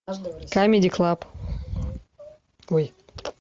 камеди клаб ой